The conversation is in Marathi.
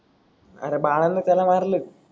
अरे बाळान त्याला मारले.